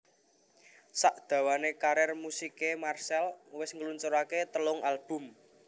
Sak dawané karir musiké Marcell wis ngluncuraké telung album